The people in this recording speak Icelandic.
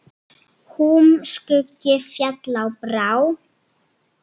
Húm skuggi féll á brá.